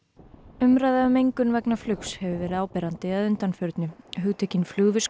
umræða um mengun vegna flugs hefur verið áberandi að undanförnu hugtökin